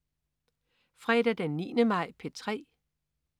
Fredag den 9. maj - P3: